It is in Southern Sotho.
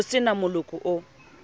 ho se na moloko o